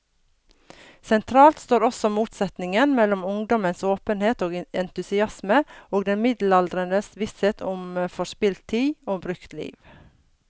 Sentralt står også motsetningen mellom ungdommens åpenhet og entusiasme og den middelaldrendes visshet om forspilt tid, om brukt liv.